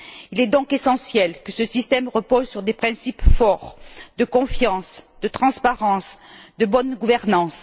Il est donc essentiel que ce système repose sur des principes forts de confiance, de transparence et de bonne gouvernance.